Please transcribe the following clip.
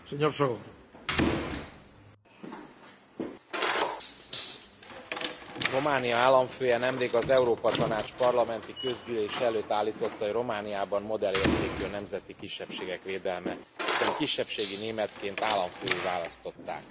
Elnök Úr, Románia államfője nemrég az Európa Tanács Parlamenti Közgyűlése előtt állította, hogy Romániában modellértékű a nemzeti kisebbségek védelme, hiszen kisebbségi németként államfővé választották.